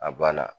A banna